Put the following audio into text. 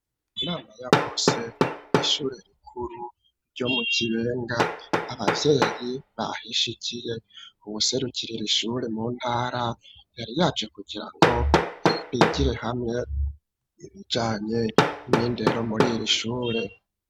Inama ya bose, kw'ishure rikuru, ryo mu Kibenga; abavyeyi bahishikiye; uwuserukirira iri shure, mu ntara, yari yaje, kugira ngo, bigire hamwe, ibijanye n'indero, muri iri ishure.